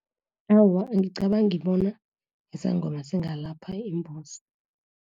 Awa, angicabangi bona, isangoma zingalapha imbuzi.